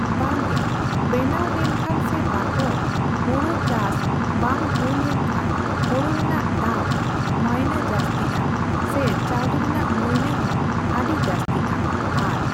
ᱵᱟᱝ ᱜᱮ ᱵᱮᱱᱟᱣ ᱞᱮᱱᱠᱷᱟᱱ ᱥᱮ ᱵᱟᱠᱚ, ᱦᱳᱲᱳ ᱪᱟᱥ ᱵᱟᱝ ᱦᱳᱭ ᱞᱮᱱ ᱠᱷᱟᱱ ᱦᱳᱲᱳ ᱨᱮᱱᱟᱜ ᱫᱟᱢ ᱢᱟᱹᱭᱱᱟᱹ ᱡᱟᱥᱛᱤᱜᱼᱟ ᱾ ᱥᱮ ᱪᱟᱣᱞᱮ ᱨᱮᱱᱟᱜ ᱢᱟᱹᱭᱱᱟᱹ ᱦᱚᱸ ᱟᱰᱤ ᱡᱟᱥᱛᱤᱜᱼᱟ ᱾ᱟᱨ